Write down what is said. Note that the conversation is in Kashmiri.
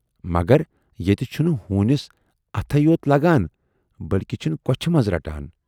مگر ییتہِ چھُنہٕ ہوٗنِس اَتھٕے یوت لگان بٔلۍکہِ چھِن کۅچھِ منز رٹان۔